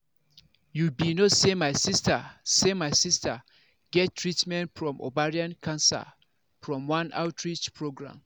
you be no say my sister say my sister get treatment from ovarian cancer from one outreach program